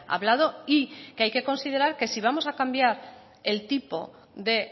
hablado y que hay que considerar que si vamos a cambiar el tipo de